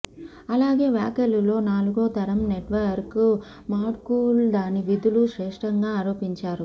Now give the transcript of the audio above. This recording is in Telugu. అలాగే వ్యాఖ్యలు లో నాలుగో తరం నెట్వర్క్ మాడ్యూల్ దాని విధులు శ్రేష్టంగా ఆరోపించారు